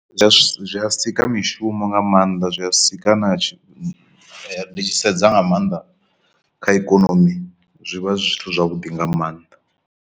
Zwi a si a sika mishumo nga maanḓa zwi a sika na tshi ndi tshi sedza nga maanḓa kha ikonomi zwi vha zwi zwithu zwavhuḓi nga maanḓa.